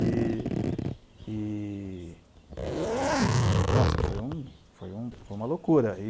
E e e... Nossa, foi uma foi uma foi uma loucura.